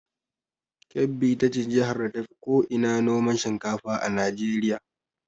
Kebbi ita ce jihar da tafi ko ina noman shinkafa a Najeriya.